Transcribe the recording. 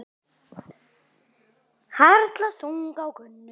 Harla þung á Gunnu.